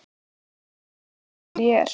Núna veit ég fullvel hver ég er.